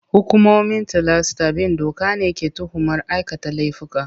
Hukumomin tilasta bin doka ne ke tuhumar aikata laifuka.